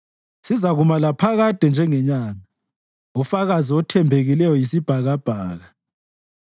sizakuma laphakade njengenyanga, ufakazi othembekileyo yisibhakabhaka.”